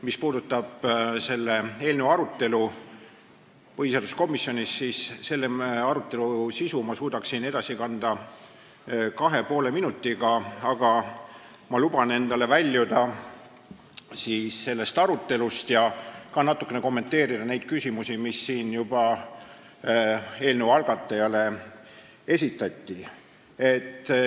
Mis puudutab selle eelnõu arutelu põhiseaduskomisjonis, siis selle sisu ma suudaksin edasi anda 2,5 minutiga, aga ma luban endale väljuda selle arutelu raamidest ja natuke kommenteerida küsimusi, mis siin eelnõu algataja esindajale esitati.